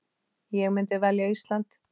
Ég myndi velja Ísland.